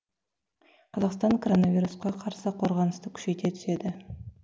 қазақстан коронавирусқа қарсы қорғанысты күшейте түседі